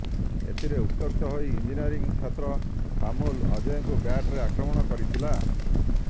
ଏଥିରେ ଉତ୍ତ୍ୟକ୍ତ ହୋଇ ଇଂଜିନିୟରିଂ ଛାତ୍ର ପାମୁଲ୍ ଅଜୟଙ୍କୁ ବ୍ୟାଟରେ ଆକ୍ରମଣ କରିଥିଲା